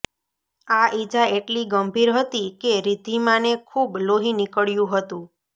આ ઈજા એટલી ગંભીર હતી કે રિદ્ધીમાને ખૂબ લોહી નીકળ્યું હતું